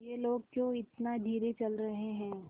ये लोग क्यों इतना धीरे चल रहे हैं